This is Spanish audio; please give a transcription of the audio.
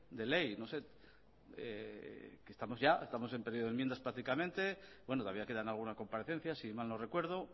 de ley no sé estamos en periodo de enmiendas prácticamente bueno todavía quedan algunas comparecencias si mal no recuerdo